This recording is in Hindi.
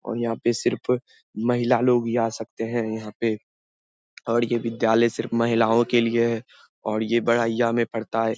और यहाँ पे सिर्फ महिला लोग ही आ सकते हैं यहाँ पे और ये विद्यालय सिर्फ महिलाओं के लिए है और ये बड़हिया में पड़ता है।